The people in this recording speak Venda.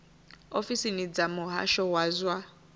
ofisini dza muhasho wa zwa